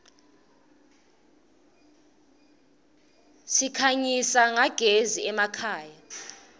sikhanyisa nyagezi emakhaya